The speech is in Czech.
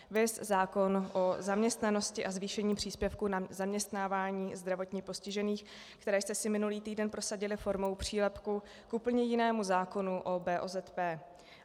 Viz zákon o zaměstnanosti a zvýšení příspěvku na zaměstnávání zdravotně postižených, které jste si minulý týden prosadili formou přílepku k úplně jinému zákonu o BOZP.